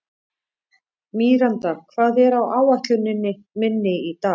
Míranda, hvað er á áætluninni minni í dag?